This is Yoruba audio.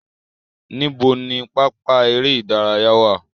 Níbo ni pápá eré ìdárayá wà?